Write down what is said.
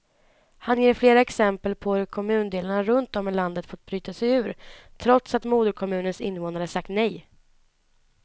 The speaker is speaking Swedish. Han ger flera exempel på hur kommundelar runt om i landet fått bryta sig ur, trots att moderkommunens invånare sagt nej.